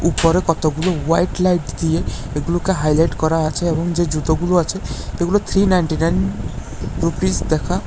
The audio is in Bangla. উপরে কতগুলো হোয়াইট লাইট দিয়ে এগুলোকে হাইলাইট করা আছে এবং যে জুতোগুলো আছে এগুলো থ্রি নাইনটি নাইন রুপিজ দেখা--